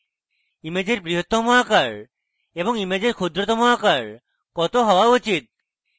ইমেজের বৃহত্তম আকার এবং ইমেজের ক্ষুদ্রতম আকার কত হওয়া উচিত